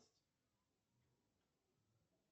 джой выпьешь что нибудь